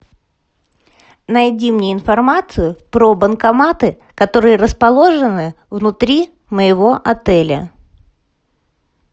найди мне информацию про банкоматы которые расположены внутри моего отеля